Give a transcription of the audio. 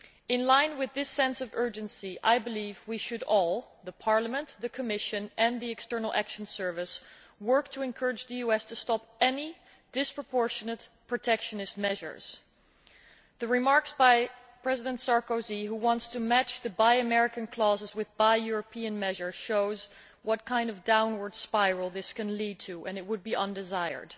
In line with this sense of urgency, I believe we should all Parliament, the Commission and the External Action Service work to encourage the US to stop any disproportionate protectionist measures. The remarks by President Sarkozy, who wants to match the Buy American' clauses with Buy European' measures, shows what kind of downward spiral this can lead to, and it would be undesirable.